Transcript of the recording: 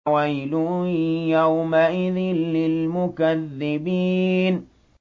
وَيْلٌ يَوْمَئِذٍ لِّلْمُكَذِّبِينَ